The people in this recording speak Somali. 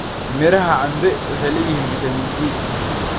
Midhaha cambe waxay leeyihiin fiitamiin C.